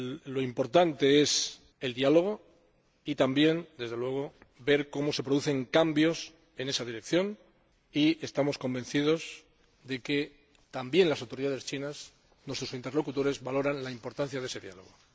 Lo importante es el diálogo y también, desde luego, ver cómo se producen cambios en esa dirección, y estamos convencidos de que también las autoridades chinas —nuestros interlocutores— valoran la importancia de ese diálogo.